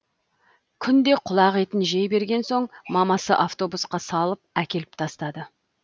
күнде құлақ етін жей берген соң мамасы автобусқа салып әкеліп тастады